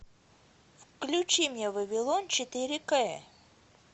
включи мне вавилон четыре кэ